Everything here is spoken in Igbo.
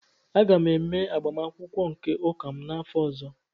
Aga m eme agbamakwụkwọ nke ụka m n'afọ ọzọ